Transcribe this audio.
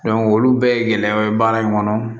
olu bɛɛ ye gɛlɛya ye baara in kɔnɔ